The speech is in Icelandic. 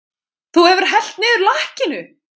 Þú hefur hellt niður lakkinu!